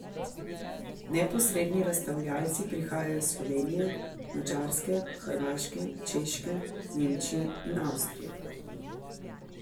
Neposredni razstavljalci prihajajo iz Slovenije, Madžarske, Hrvaške, Češke, Nemčije in Avstrije.